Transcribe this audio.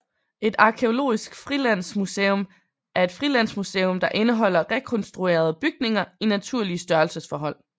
Et arkæologisk frilandsmuseum er et frilandsmuseum der indeholder rekonstruerede bygninger i naturlig størrelsesforhold